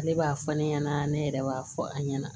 Ale b'a fɔ ne ɲɛna ne yɛrɛ b'a fɔ a ɲɛna